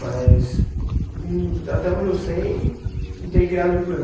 Mas, hum, até onde eu sei, não tem criado muito problema.